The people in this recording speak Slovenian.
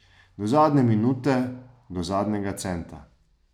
Do zadnje minute, do zadnjega centa.